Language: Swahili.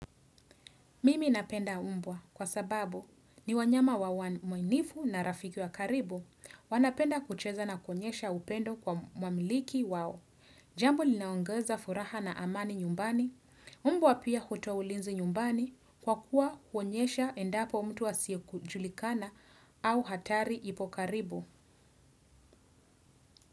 Mimi napenda mbwa kwa sababu ni wanyama wa mwaminifu na rafiki wa karibu wanapenda kucheza na kuonyesha upendo kwa mwamiliki wao. Jambo linaongeza furaha na amani nyumbani, mbwa pia hutoa ulinzi nyumbani kwa kuwa kuonyesha endapo mtu asiye kujulikana au hatari ipo karibu.